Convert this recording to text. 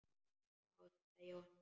Já, sagði Jóhann.